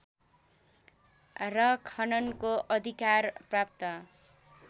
र खननको अधिकार प्राप्त